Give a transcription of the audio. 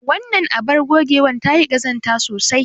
Wannan abar ogewar ta yi ƙazanta sosai.